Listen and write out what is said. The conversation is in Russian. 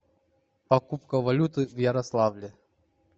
покупка валюты в ярославле